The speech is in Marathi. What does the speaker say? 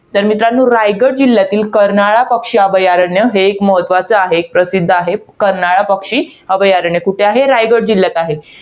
तर मित्रांनो, रायगड जिल्ह्यातील, कर्नाळा पक्षी अभयारण्य, हे एक महत्वाचं आहे, प्रसिध्द आहे. कर्नाळा पक्षी अभयारण्य कुठे आहे? रायगड जिल्ह्यात आहे.